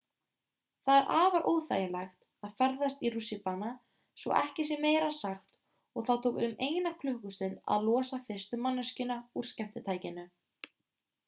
það er afar óþægilegt að festast í rússíbana svo ekki sé meira sagt og það tók um eina klukkustund að losa fyrstu manneskjuna úr skemmtitækinu